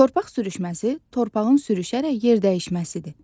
Torpaq sürüşməsi torpağın sürüşərək yer dəyişməsidir.